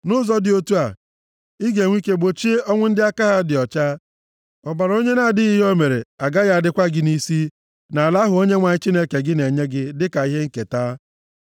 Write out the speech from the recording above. Nʼụzọ dị otu a, ị ga-enwe ike gbochie ọnwụ ndị aka ha dị ọcha. Ọbara onye na-adịghị ihe o mere agaghị adịkwa gị nʼisi, nʼala ahụ Onyenwe anyị Chineke gị na-enye gị dịka ihe nketa.